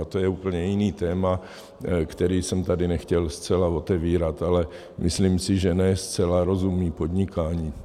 A to je úplně jiné téma, které jsem tady nechtěl zcela otevírat, ale myslím si, že ne zcela rozumí podnikání.